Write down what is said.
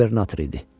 Qubernator idi.